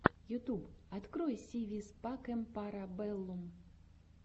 ютьюб открой си вис пакэм пара бэллум